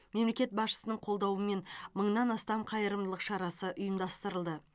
мемлекет басшысының қолдауымен мыңнан астам қайырымдылық шарасы ұйымдастырылды